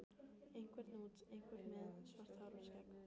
Einhver út, einhver með svart hár og skegg.